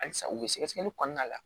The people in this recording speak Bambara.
Halisa u bɛ sɛgɛsɛgɛli kɔnɔna la